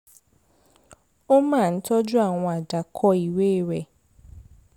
ó máa ń tọ́jú àwọn àdàkọ́ ìwé rẹ̀